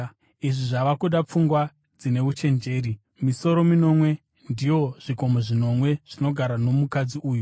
“Izvi zvava kuda pfungwa dzine uchenjeri. Misoro minomwe ndiwo zvikomo zvinomwe zvinogarwa nomukadzi uyu.